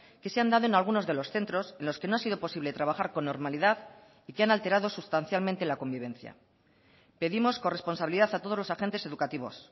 que se han dado en algunos de los centros en los que no ha sido posible trabajar con normalidad y que han alterado sustancialmente la convivencia pedimos corresponsabilidad a todos los agentes educativos